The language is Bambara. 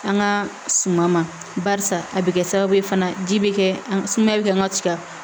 An ka suma ma barisa a bɛ kɛ sababu ye fana ji bɛ kɛ sumaya bɛ kɛ an ka tiga